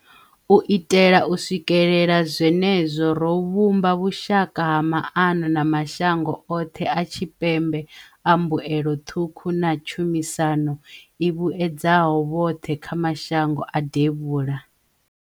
U itela u swikelela zwene zwo, ro vhumba vhushaka ha maano na mashango oṱhe a Tshipembe a mbuelo ṱhukhu na tshumisano i vhuedzaho vhoṱhe kha mashango a Devhula.